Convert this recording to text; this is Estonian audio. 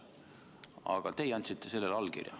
Aga teie andsite sellele allkirja.